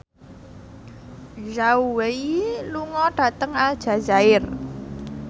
Zhao Wei lunga dhateng Aljazair